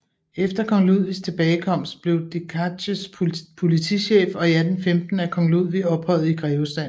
Efter kong Ludvigs tilbagekomst blev Decazes politichef og i 1815 af kong Ludvig ophøjet i grevestanden